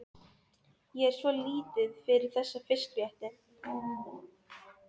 Ég er svo lítið fyrir þessa fiskrétti.